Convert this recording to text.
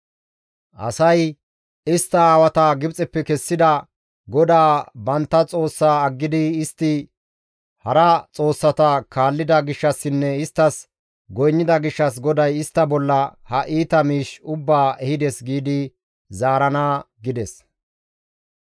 Asay, ‹Istta aawata Gibxeppe kessida GODAA bantta Xoossaa aggidi istti hara xoossata kaallida gishshassinne isttas goynnida gishshas GODAY istta bolla ha iita miish ubbaa ehides› giidi zaarana» gides.